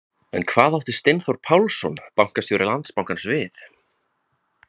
En hvað átti Steinþór Pálsson, bankastjóri Landsbankans við?